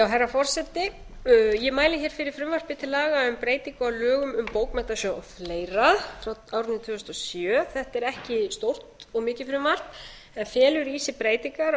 herra forseti ég mæli fyrir frumvarpi til laga um breytingu á lögum um bókmenntasjóð og fleira frá árinu tvö þúsund og sjö þetta er ekki stórt og mikið frumvarp en felur í sér breytingar á